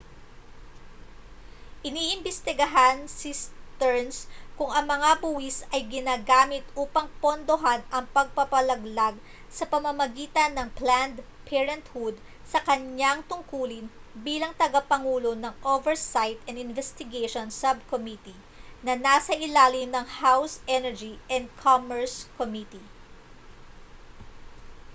iniimbistigahan ni stearns kung ang mga buwis ay ginagamit upang pondohan ang pagpapalaglag sa pamamagitan ng planned parenthood sa kaniyang tungkulin bilang tagapangulo ng oversight and investigations subcommittee na nasa ilalim ng house energy and commerce committee